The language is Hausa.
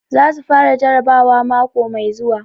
Za su fara jarabawa mako mai zuwa.